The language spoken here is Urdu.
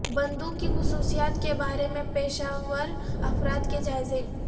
بندوق کی خصوصیات کے بارے میں پیشہ ور افراد کے جائزے